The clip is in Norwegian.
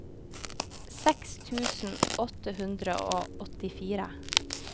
seks tusen åtte hundre og åttifire